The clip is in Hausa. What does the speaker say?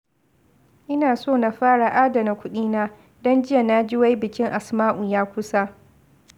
Ina so na fara adana kuɗina, don jiya na ji wai bikin Asma'u ya kusa